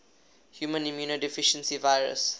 human immunodeficiency virus